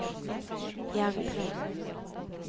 Gjerdrum